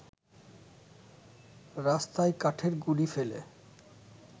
রাস্তায় কাঠের গুঁড়ি ফেলে